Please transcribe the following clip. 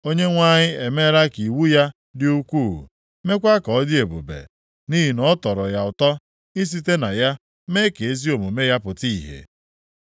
Onyenwe anyị emeela ka iwu ya dị ukwuu, meekwa ka ọ dị ebube, nʼihi na ọ tọrọ ya ụtọ isite na ya mee ka ezi omume ya pụta ìhè.